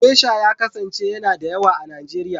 Gesha ya kasance yana da yawa a Nijeriya.